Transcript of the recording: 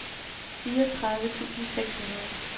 fireogtredive tusind seks hundrede